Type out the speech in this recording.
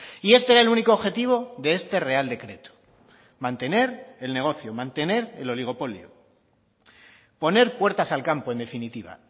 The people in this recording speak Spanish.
y este era el único objetivo de este real decreto mantener el negocio mantener el oligopolio poner puertas al campo en definitiva